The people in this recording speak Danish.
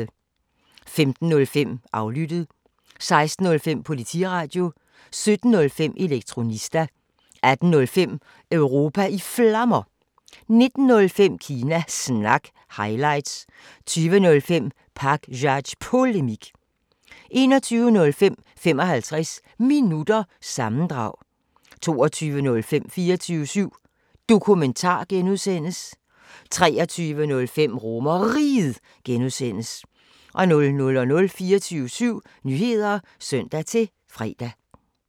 15:05: Aflyttet 16:05: Politiradio 17:05: Elektronista 18:05: Europa i Flammer 19:05: Kina Snak – highlights 20:05: Pakzads Polemik 21:05: 55 Minutter – sammendrag 22:05: 24syv Dokumentar (G) 23:05: RomerRiget (G) 00:00: 24syv Nyheder (søn-fre)